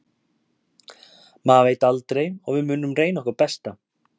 Maður veit aldrei og við munum reyna okkar besta.